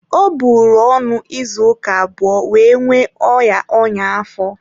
Ọ bụrụ ọnụ ịzụ ụka abụọ wee nwee oya ọnyá-afọ.